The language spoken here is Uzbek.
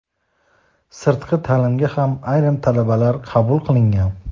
sirtqi taʼlimga ham ayrim talabalar qabul qilingan.